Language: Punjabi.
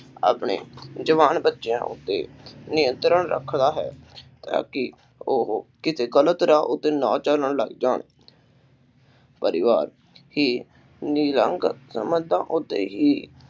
ਆਪਣੇ ਜਵਾਨ ਬੱਚਿਆਂ ਉੱਤੇ ਨਿਯੰਤਰਣ ਰੱਖਦਾ ਹੈ ਤਾ ਕਿ ਉਹ ਕਿਸੇ ਗ਼ਲਤ ਰਾਹ ਉੱਤੇ ਨਾ ਚਲਣ ਲੱਗ ਜਾਣ ਪਰਿਵਾਰ ਕਿ ਸੰਬੰਧਾਂ ਉੱਤੇ ਹੀ।